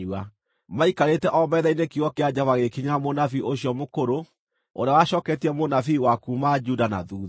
Maikarĩte o metha-inĩ kiugo kĩa Jehova gĩgĩkinyĩra mũnabii ũcio mũkũrũ ũrĩa wacooketie mũnabii wa kuuma Juda na thuutha.